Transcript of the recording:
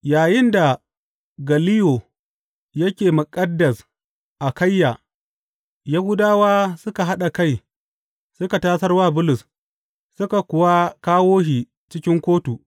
Yayinda Galliyo yake muƙaddas Akayya, Yahudawa suka haɗa kai suka tasar wa Bulus, suka kuwa kawo shi cikin kotu.